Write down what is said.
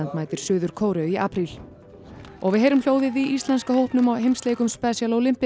mætir Suður Kóreu í apríl og við heyrum hljóðið í íslenska hópnum á heimsleikum special